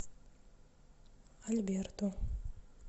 альберту